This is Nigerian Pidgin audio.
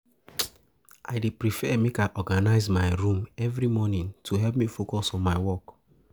I dey prefer make I dey organize my room every morning to help me focus for my work.